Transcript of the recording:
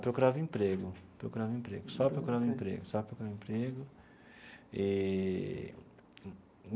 Procurava emprego procurava emprego, só procurando emprego, só procurando emprego eee.